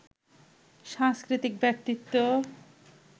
সাংস্কৃতিক ব্যক্তিত্ব